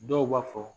Dɔw b'a fɔ